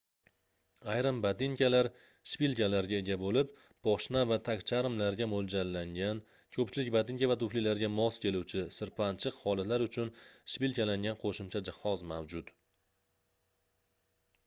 ayrim botinkalar shpilkalarga ega boʻlib poshna va tagcharmlarga moʻljallangan koʻpchilik botinka va tuflilarga mos keluvchi sirpanchiq holatlar uchun shpilkalangan qoʻshimcha jihoz mavjud